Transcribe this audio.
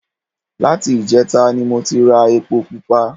Láti ìjẹta ni mo ti ra epo pupa